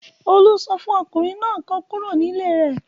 Olú sọ fún ọkùnrin náà kó kúrò nílé rẹ̀.